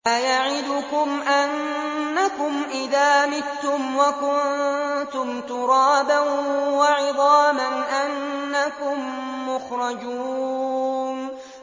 أَيَعِدُكُمْ أَنَّكُمْ إِذَا مِتُّمْ وَكُنتُمْ تُرَابًا وَعِظَامًا أَنَّكُم مُّخْرَجُونَ